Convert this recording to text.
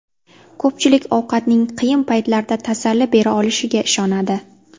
Ko‘pchilik ovqatning qiyin paytlarda tasalli bera olishiga ishonadi.